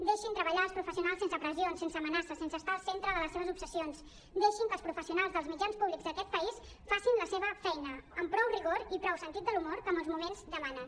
deixin treballar els professionals sense pressions sense amenaces sense estar al centre de les seves obsessions deixin que els professionals dels mitjans públics d’aquest país facin la seva feina amb prou rigor i prou sentit de l’humor com els moments demanen